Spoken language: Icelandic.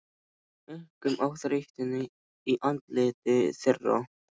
Einkum á þreytuna í andliti þeirra.